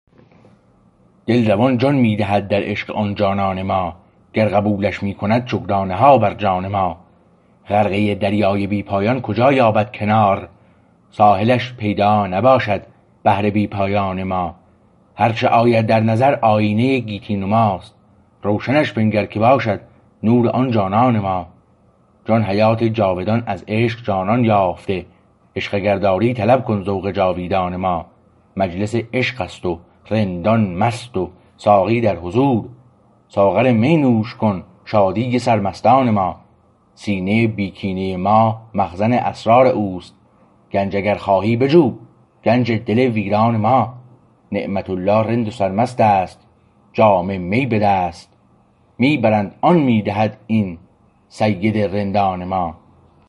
دل روان جان می دهد در عشق آن جانان ما گر قبولش می کند شکرانه ها بر جان ما غرقه دریای بی پایان کجا یابد کنار ساحلش پیدا نباشد بحر بی پایان ما هرچه آید در نظر آیینه گیتی نماست روشنش بنگر که باشد نور آن جانان ما جان حیات جاودان از عشق جانان یافته عشق اگر داری طلب کن ذوق جاویدان ما مجلس عشقست و رندان مست و ساقی درحضور ساغر می نوش کن شادی سرمستان ما سینه بی کینه ما مخزن اسرار اوست گنج اگر خواهی بجو گنج دل ویران ما نعمت الله رند و سرمست است و جام می به دست می برند آن می دهد این سید رندان ما